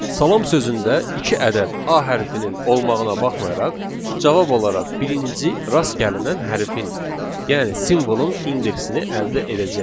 Salam sözündə iki ədəd a hərfinin olmağına baxmayaraq, cavab olaraq birinci rast gəlinən hərfin, yəni simvolun indeksini əldə edəcəyik.